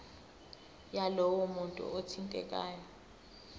yalowo muntu othintekayo